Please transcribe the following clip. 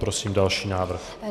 Prosím další návrh.